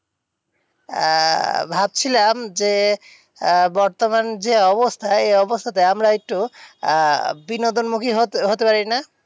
আহ ভাবছিলাম যে আহ বর্তমান যে অবস্থায়, এই অবস্থাতে আমরা একটু আহ বিনোদন movie হতে হতে পারি না?